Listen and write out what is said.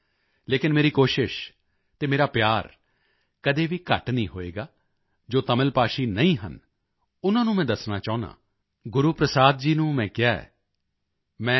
ਉਚਾਰਣ ਦਾ ਦੋਸ਼ ਜ਼ਰੂਰ ਹੋਵੇਗਾ ਲੇਕਿਨ ਮੇਰੀ ਕੋਸ਼ਿਸ਼ ਅਤੇ ਮੇਰਾ ਪਿਆਰ ਕਦੇ ਵੀ ਘੱਟ ਨਹੀਂ ਹੋਵੇਗਾ ਜੋ ਤਮਿਲ ਭਾਸ਼ੀ ਨਹੀਂ ਹਨ ਉਨ੍ਹਾਂ ਨੂੰ ਮੈਂ ਦੱਸਣਾ ਚਾਹੁੰਦਾ ਹਾਂ ਗੁਰੂਪ੍ਰਸਾਦ ਜੀ ਨੂੰ ਮੈਂ ਕਿਹਾ ਹੈ